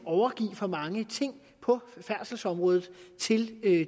overgive for mange ting på færdselsområdet til